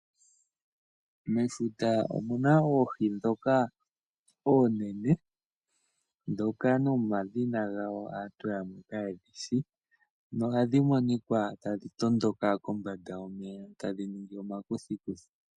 Mefuta omu na oohi ndhoka oonene ndhoka nomadhina gadho aantu yamwe kaye ga shi nohadhi monika tadhi tondoka kombanda yomeya tadhi ningi omakuthikuthi.